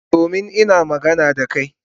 Domin ina magana da ka.